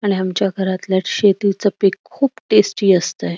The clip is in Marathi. आणि आमच्या घरातल शेतीच पिक खुप टेस्टी असतय.